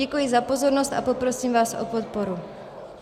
Děkuji za pozornost a poprosím vás o podporu.